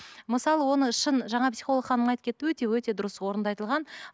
мысалы оны шын жаңа психолог ханым айтып кетті өте өте дұрыс орынды айтылған